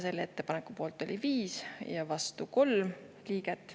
Selle ettepaneku poolt oli 5 ja vastu 3 liiget.